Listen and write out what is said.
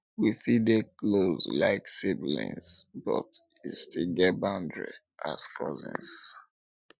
we fit dey close like siblings but e still get boundary as cousins